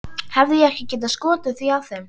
Hefði ég ekki getað skotið því að þeim